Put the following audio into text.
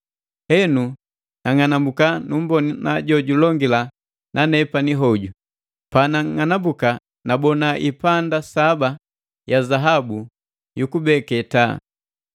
Henu nang'anambuka numbona jo julongila na nepani hoju. Panag'anambuka nabona ipanda saba ya zaabu yukubeke taa,